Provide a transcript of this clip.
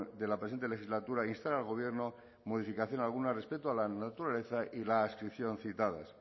de la presente legislatura instar al gobierno modificación alguna respecto a la naturaleza y la adscripción citadas